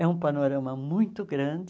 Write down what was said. É um panorama muito grande,